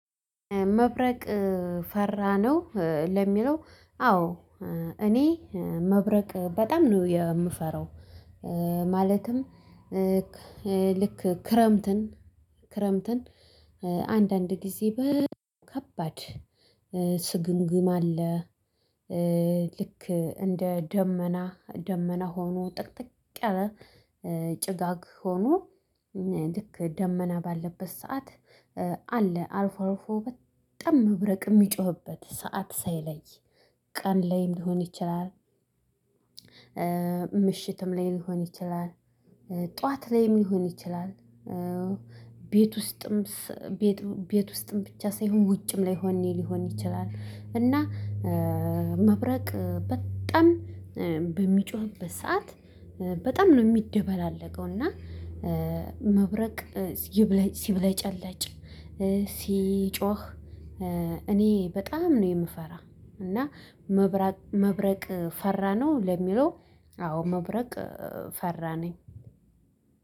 መብረቅ ፈራነው ለሚለው? አዎ እኔ መብረቅ በጣም ነው የምፈራው። ማለትም ልክ ክረምትን አንዳንድ ጊዜ በከባድ ስግምግም አለ። ልክ እንደሆኑ ደመና ደመና ሆኖ ጠቅጥቅ ያለ ጭጋግ ሆኖ ልክ ደመና ባለበት ሰዓት አለ አርፎ አርፎ በጣም ምብረቅ የሚጮህበት ሰዓት ሳይለይ ቀን ላይ ሊሆን ይችላል። ምሽትም ላይ ሊሆን ይችላል ጠዋት ላይም ሊሆን ይችላል። ቤት ውስጥም ቤት ቤት ውስጥም ብቻ ሳይሆን ውጭም ላይሆን ሊሆን ይችላል። እና መብረቅ በጣም በሚጮህበት ሰዓት በጣም ነው የሚደባለቀው እና። መብረቅ ሲብለጭ አለጭ ሲጮህ እኔ በጣም ነው የምፈራ እና መብረቅ መብረቅ ፈራነው ለሚለው አዎ መብረቅ ፈራ ነኝ።